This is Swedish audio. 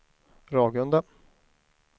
Ragunda